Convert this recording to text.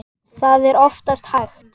Það er oftast hægt.